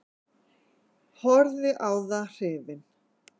Horfði á það hrifinn.